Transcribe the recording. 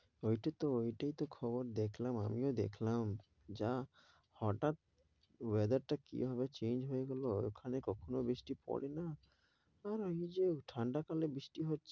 ওই টাইতো ওই টাইতো খবর দেখলাম আমিও দেখলাম যা হঠাৎ weather টা কিভাবে change হয়ে গেল ওখানে কখনো বৃষ্টি পড়ে না। আর আমি যে ঠান্ডা কালে বৃষ্টি হচ্ছে